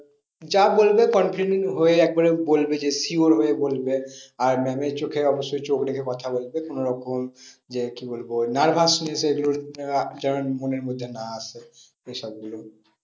যা বলবে confident হয়ে একবারে বলবে যে sure হয়ে বলবে। আর ma'am এর চোখে অবশ্যই চোখ রেখে কথা বলবে কোনো রকম যে কি বলবো nervousness এগুলো যেন মনের মধ্যে না আসে। ওসব গুলো